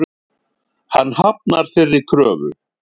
Hann hafnar þeirri kröfu.